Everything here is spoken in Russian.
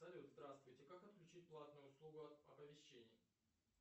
салют здравствуйте как отключить платную услугу оповещений